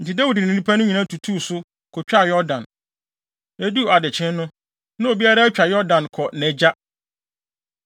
Enti Dawid ne nnipa no nyinaa tutuu so, kotwaa Yordan. Eduu adekyee no, na obiara atwa Yordan kɔ nʼagya.